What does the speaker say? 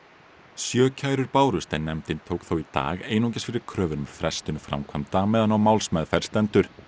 sjö kærur bárust en nefndin tók þó í dag einungis fyrir kröfur um frestun framkvæmda meðan á málsmeðferð stendur